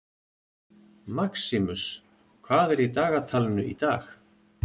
Maximus, hvað er í dagatalinu í dag?